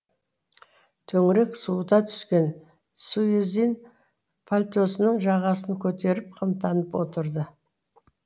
төңірек суыта түскен суизин пальтосының жағасын көтеріп қымтанып отырды